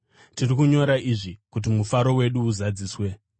Tiri kunyora izvi kuti mufaro wedu uzadziswe.